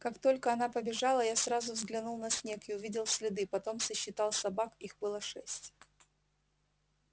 как только она побежала я сразу взглянул на снег и увидел следы потом сосчитал собак их было шесть